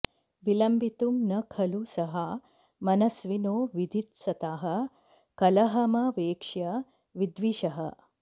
विलम्बितुं न खलु सहा मनस्विनो विधित्सतः कलहमवेक्ष्य विद्विषः